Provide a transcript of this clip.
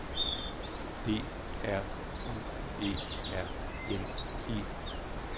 D R U E R N E